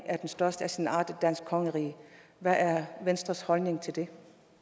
af den største af sin art i danske kongerige hvad er venstres holdning til det